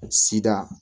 Sida